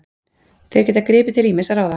Þeir geta gripið til ýmissa ráða